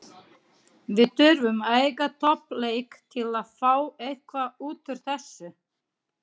Við þurfum að eiga topp leik til að fá eitthvað útúr þessu.